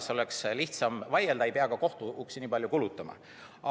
Siis oleks lihtsam vaielda, ei peaks kohtuuksi nii palju kulutama.